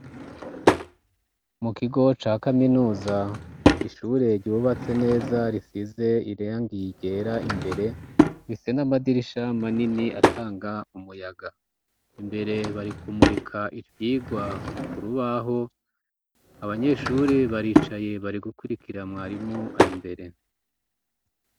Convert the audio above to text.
mu kigo ca kaminuza ishure rubatse neza risize irangi ryera imbere bise n'amadirisha manini atanga umuyaga imbere barikumurika iryigwa kurubaho abanyeshuri baricaye bari gukurikira mwarimu ari mbere